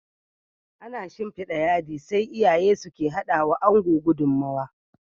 Ana shinfida yadi, sai iyaye suke hadawa Ango gudummawa